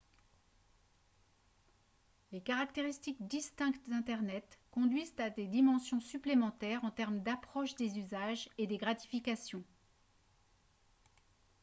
les caractéristiques distinctes d'internet conduisent à des dimensions supplémentaires en termes d'approche des usages et des gratifications